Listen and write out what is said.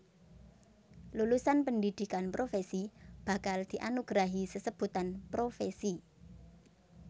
Lulusan pendhidhikan profèsi bakal dianugerahi sesebutan profèsi